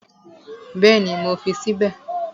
Bẹ́ẹ̀ni, mo fi sí bẹ̀